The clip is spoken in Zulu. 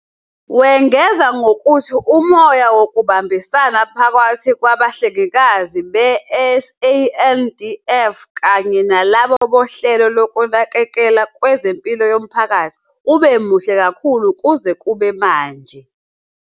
Wengeza ngokuthi umoya wokubambisana phakathi kwabahlengikazi be-SANDF kanye nalabo bohlelo lokunakekelwa kwezempilo yomphakathi ube muhle kakhulu kuze kube manje.